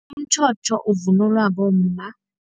Umtjhotjho uvunulwa bomma.